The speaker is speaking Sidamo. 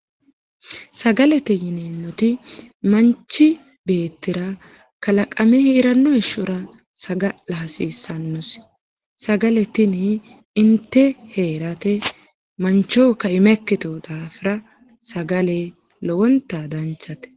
Sagalete yineemmoti manchi beettira kalaqame heeranno heeshshor saga'la hasiissannosi. Sagale tini inte heerate mancho kaima ikkiteyo daafira sagale lowontayi danchate.